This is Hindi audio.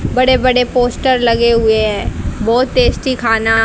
बड़े बड़े पोस्टर लगे हुए है बहोत टेस्टी खाना--